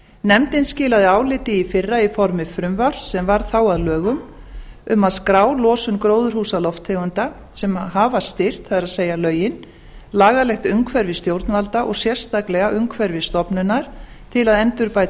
nefndin skilaði áliti í fyrra í formi frumvarps sem varð þá að lögum um að skrá losun gróðurhúsalofttegunda sem hafa styrkt það er lögin lagalegt umhverfi stjórnvalda og sérstaklega umhverfisstofnunar til að endurbæta